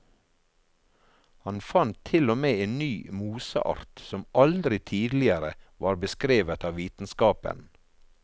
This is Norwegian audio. Han fant til og med en ny moseart, som aldri tidligere var beskrevet av vitenskapen.